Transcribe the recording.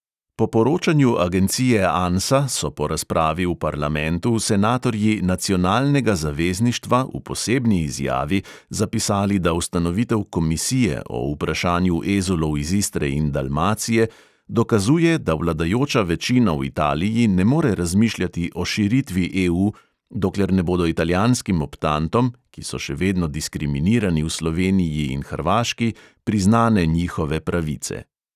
Po poročanju agencije ansa so po razpravi v parlamentu senatorji nacionalnega zavezništva v posebni izjavi zapisali, da ustanovitev komisije o vprašanju ezulov iz istre in dalmacije dokazuje, da vladajoča večina v italiji ne more razmišljati o širitvi EU, dokler ne bodo italijanskim optantom, ki so še vedno diskriminirani v sloveniji in hrvaški, priznane njihove pravice.